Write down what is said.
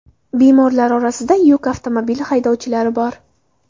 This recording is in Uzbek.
Bemorlar orasida yuk avtomobili haydovchilari bor.